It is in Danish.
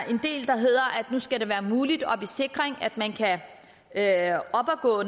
nu skal det være muligt at